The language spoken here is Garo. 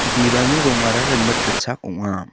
bibalni rongara rimit gitchak ong·a.